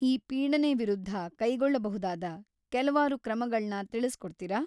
ಈ ಪೀಡನೆ ವಿರುದ್ಧ ಕೈಗೊಳ್ಬಹುದಾದ ಕೆಲ್ವಾರು ಕ್ರಮಗಳ್ನ ತಿಳಿಸ್ಕೊಡ್ತೀರಾ?